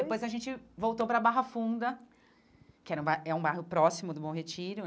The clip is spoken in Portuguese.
E depois a gente voltou para Barra Funda, que era um ba é um bairro próximo do Bom Retiro,